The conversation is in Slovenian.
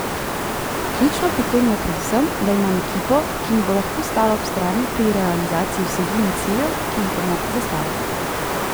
Ključno pri tem mi je predvsem, da imam ekipo, ki mi bo lahko stala ob strani pri realizaciji vsebin in ciljev, ki si jih bomo zastavili.